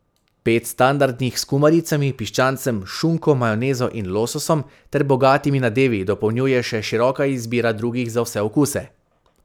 Pet standardnih s kumaricami, piščancem, šunko, majonezo in lososom ter bogatimi nadevi dopolnjuje še široka izbira drugih za vse okuse.